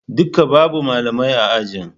Duka babu Malamai a ajin